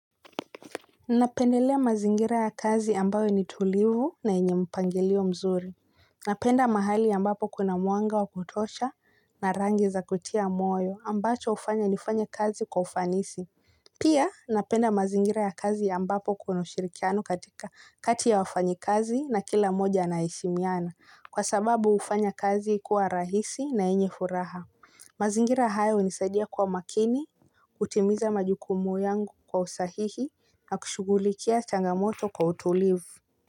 Napendelea mazingira ya kazi ambayo ni tulivu na yenye mpangilio mzuri. Napenda mahali ambapo kuna mwanga wa kutosha na rangi za kutia moyo ambacho hufanya nifanye kazi kwa ufanisi. Pia napenda mazingira ya kazi ambapo kuna ushirikiano katika kati ya wafanyi kazi na kila mmoja anaheshimiana. Kwa sababu hufanya kazi kuwa rahisi na yenye furaha. Mazingira hayo hunisaidia kuwa makini, kutimiza majukumu yangu kwa usahihi na kushughulikia changamoto kwa utulivu.